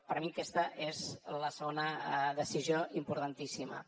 per mi aquesta és la segona decisió importantíssima